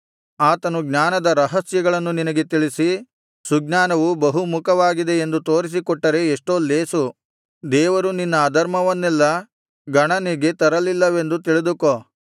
ಆತನು ಜ್ಞಾನದ ರಹಸ್ಯಗಳನ್ನು ನಿನಗೆ ತಿಳಿಸಿ ಸುಜ್ಞಾನವು ಬಹುಮುಖವಾಗಿದೆ ಎಂದು ತೋರಿಸಿಕೊಟ್ಟರೆ ಎಷ್ಟೋ ಲೇಸು ದೇವರು ನಿನ್ನ ಅಧರ್ಮವನ್ನೆಲ್ಲಾ ಗಣನೆಗೆ ತರಲಿಲ್ಲವೆಂದು ತಿಳಿದುಕೋ